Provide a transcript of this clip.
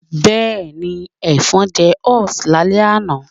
Bẹ́ẹ̀ni, Ẹ̀fọn jẹ us lálẹ́ àná